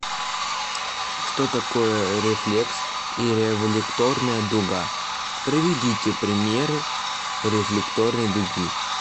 что такое рефлекс и рефлекторная дуга приведите пример рефлекторной дуги